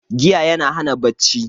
Giya yana hana bacci